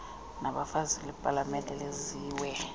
labafazi lasepalamente lenziwe